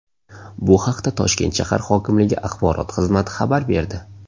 Bu haqda Toshkent shahar hokimligi axborot xizmati xabar berdi .